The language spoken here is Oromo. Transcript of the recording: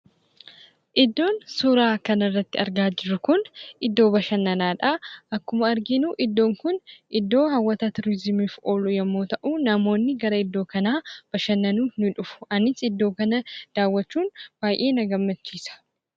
Iddoon suuraa kana irratti argaa jirru kun iddoo bashannanaadha. Akkuma arginu iddoon kun iddoo hawwata tuuriziimiif oolu yemmuu ta'u, namoonni gara iddoo kanaa bashannanuuf ni dhufu. Anis iddoo kana daawwachuun baay'ee na gammachiisa.